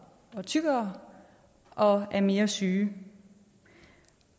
og tykkere og er mere syge